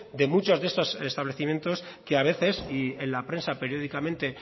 de muchos de estos establecimientos que a veces y en la prensa periódicamente